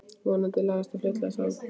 Vonandi lagast það fljótlega sagði hann.